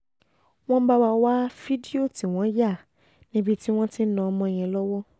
wọ́n bá wá wá fídíò tí wọ́n yà níbi tí wọ́n ti ń ná ọmọ yẹn lọ́wọ́